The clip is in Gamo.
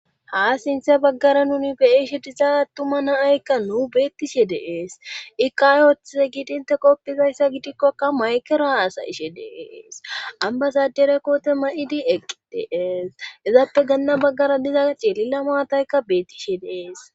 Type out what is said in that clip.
Ha sinthe baggara nuni beishe diza attuma naaykka nuu beettishe dees ikaayothe giidinte qoppizayssa gidikkokka maykera asa ishe dees ambasadere koote ma7idi eqi dees izappe ganna baggara diza ceelila maataykka beettishe dees.